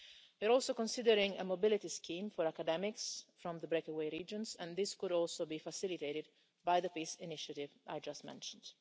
We are also considering a mobility scheme for academics from the breakaway regions, and this could also be facilitated by the peace initiative I just mentioned.